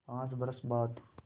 पाँच बरस बाद